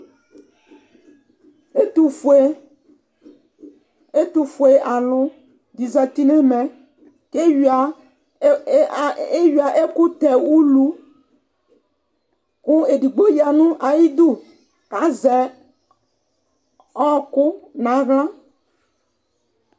ɛtofue ɛtofue alo di zati n'ɛmɛ k'ewia ewia ɛkò tɛ ulu kò edigbo ya n'ayidu k'azɛ ɔku n'ala